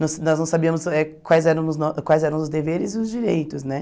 Nós nós não sabíamos eh quais eram os no quais eram os deveres e os direitos, né?